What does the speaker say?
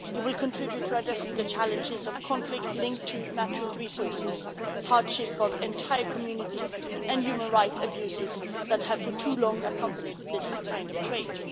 It will contribute to addressing the challenges of conflict linked to natural resources, hardship of entire communities and human rights abuses that have for too long accompanied this kind of trade.